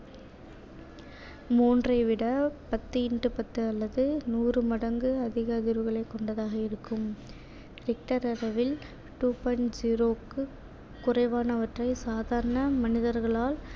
மூன்றை விட பத்து into பத்து அல்லது நூறு மடங்கு அதிக அதிர்வுகளைக் கொண்டதாக இருக்கும் richter அளவில் two point zero க்கு குறைவானவற்றை சாதாரண மனிதர்களால்